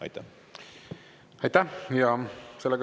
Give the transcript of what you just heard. Aitäh!